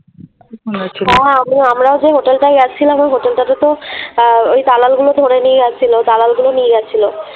হ্যাঁ হ্যাঁ আমি আমরাও যে হোটেলটায় যাচ্ছিলাম ওই হোটেলটাতে তো আহ ওই দালাল গুলো ধরে নিয়ে যাচ্ছিলো, দালাল গুলো নিয়ে যাচ্ছিলো।